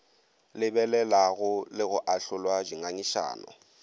lebelelago le go ahlola dingangišano